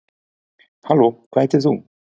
halló hvað heitir þú